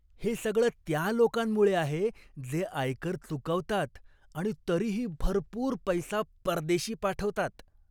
हे सगळं त्या लोकांमुळं आहे जे आयकर चुकवतात आणि तरीही भरपूर पैसा परदेशी पाठवतात.